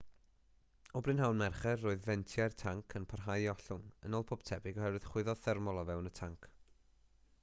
o brynhawn mercher roedd fentiau'r tanc yn parhau i ollwng yn ôl pob tebyg oherwydd chwyddo thermol o fewn y tanc